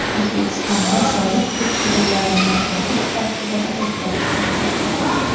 O‘zbekistonda soliq tekshiruvlarini o‘tkazish tartibida o‘zgarishlar yuz beradi.